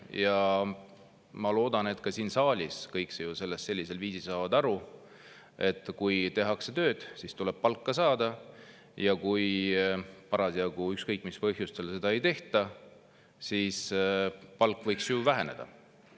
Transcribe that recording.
Ja ma loodan, et ka siin saalis saavad kõik sellest sellisel viisil aru, et kui tehakse tööd, siis tuleb palka saada, ja kui parasjagu – ükskõik, mis põhjusel – seda ei tehta, siis palk võiks ju väheneda.